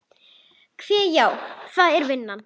Hve. já, það er vinnan.